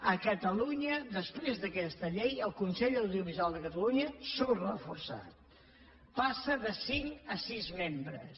a catalunya després d’aquesta llei el consell de l’audiovisual de catalunya surt reforçat passa de cinc a sis membres